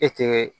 E tɛ